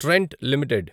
Trent limited